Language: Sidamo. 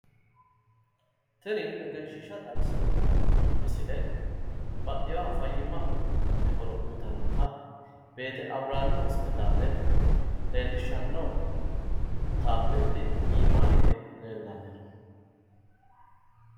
Tini egenshshiishsha xawissanno misile baxxewooha fayyimate horo uuytannota beete abrihaam hospitaale leellishshanno taapeeli iimaa hige leellanno.